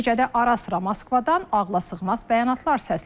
Nəticədə ara-sıra Moskvadan ağlasığmaz bəyanatlar səslənir.